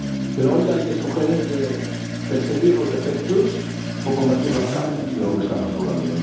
Pero hoy hay que escoger entre perseguir los efectos o combatir las causas de lo que estamos hablando.